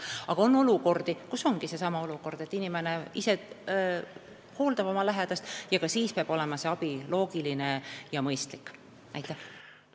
Aga on olukordi, kus inimene ise hooldab oma lähedast – ka siis peab loogiline ja mõistlik abi olemas olema.